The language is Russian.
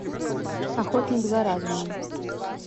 охотник за разумом